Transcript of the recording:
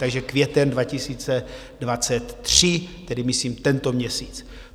Takže květen 2023, tedy myslím tento měsíc.